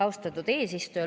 Austatud eesistuja!